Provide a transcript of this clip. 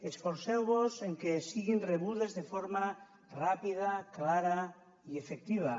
esforceu vos en que siguin rebudes de forma ràpida clara i efectiva